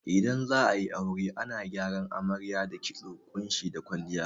Idan za'ayi aure ana gyaran amarya da kitso, ƙunshi da kwalliya